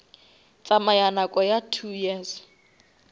tsamaya nako ya two years